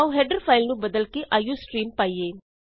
ਆਉ header file ਨੂੰ ਬਦਲ ਕੇ ਆਈਓਸਟ੍ਰੀਮ ਪਾਈਏ